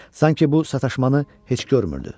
Sanki bu sataşmanı heç görmürdü.